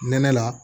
Nɛnɛ la